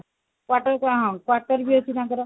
ତାପରେ କଣ quarter ବି ଅଛି ତାଙ୍କର